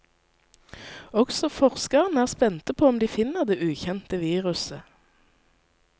Også forskerne er spente på om de finner det ukjente viruset.